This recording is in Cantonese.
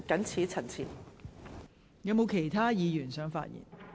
是否有其他議員想發言？